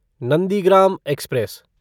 Nandigram express